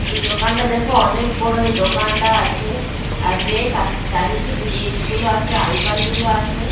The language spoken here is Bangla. এই দোকানটা দেখো অনেক বড় এই দোকানটা আছে আর রেক আছে চারিদিক রেক -গুলো আছে আলমারিগুলো আছে।